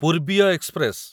ପୂର୍ବୀୟ express